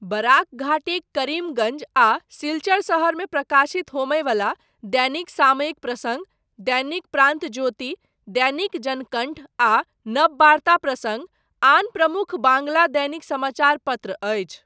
Barack घाटीक करीमगञ्ज आ सिलचर शहरमे प्रकाशित होमय बला दैनिक सामयिक प्रसङ्ग, दैनिक प्रान्तोज्योति, दैनिक जनकण्ठ आ नबबार्ता प्रसङ्ग आन प्रमुख बांग्ला दैनिक समाचार पत्र अछि।